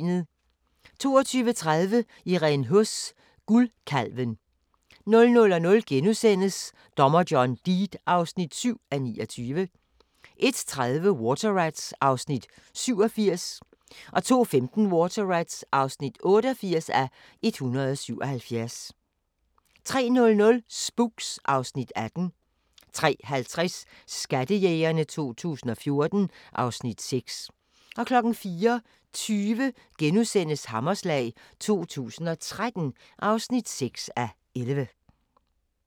22:30: Irene Huss: Guldkalven 00:00: Dommer John Deed (7:29)* 01:30: Water Rats (87:177) 02:15: Water Rats (88:177) 03:00: Spooks (Afs. 18) 03:50: Skattejægerne 2014 (Afs. 6) 04:20: Hammerslag 2013 (6:11)*